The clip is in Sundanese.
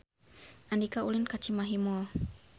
Andika ulin ka Cimahi Mall